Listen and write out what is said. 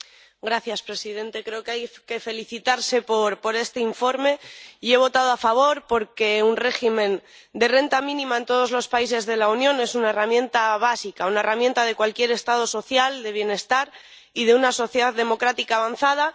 Señor presidente. Creo que hay que felicitarse por este informe, y he votado a favor porque un régimen de renta mínima en todos los países de la Unión es una herramienta básica, una herramienta de cualquier Estado social, del bienestar y de una sociedad democrática avanzada.